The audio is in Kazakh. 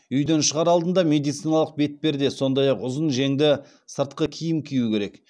үйден шығар алдында медициналық бетперде сондай ақ ұзын жеңді сыртқы киім кию керек